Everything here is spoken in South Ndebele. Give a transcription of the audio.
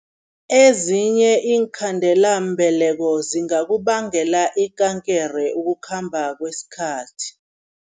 Ezinye iinkhandelambeleko zingakubangela ikankere ukukhamba kwesikhathi.